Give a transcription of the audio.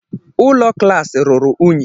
Ụlọ klaasị ruru unyi.